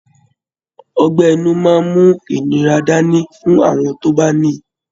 Ọgbẹ́ inú máa ń mú ìnira dáni fún àwọn tó bá ní i